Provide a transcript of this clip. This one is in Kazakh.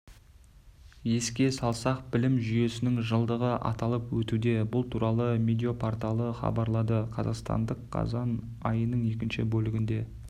еске салсақ білім жүйесінің жылдығы аталып өтуде бұл туралы медиа-порталы хабарлады қазақстандық қазан айының екінші бөлігінде